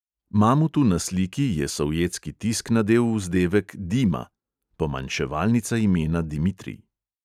Mamutu na sliki je sovjetski tisk nadel vzdevek "dima" (pomanjševalnica imena dimitrij).